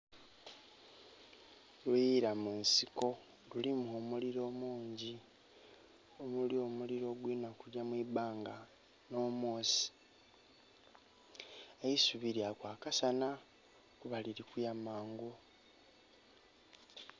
Luyila mu nsiko lulimu omuliro mungi omuli omuliro ogulinha kugya mu ibanga nh'omwosi, eisubi lya kwakasana kuba liri kuya mangu.